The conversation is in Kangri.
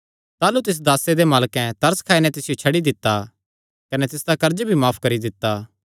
ताह़लू तिस दासे दे मालकैं तरस खाई नैं तिसियो छड्डी दित्ता कने तिसदा कर्ज भी माफ करी दित्ता